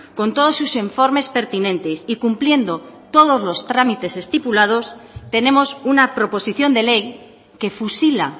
con todos sus informes pertinentes y cumpliendo todos los trámites estipulados tenemos una proposición de ley que fusila